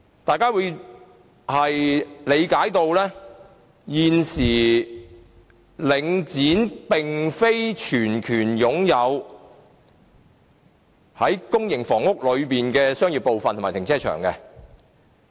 大家也理解到現時領展並非全權擁有公營房屋的商業部分及停車場。